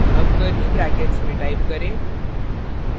अब curly brackets में type करें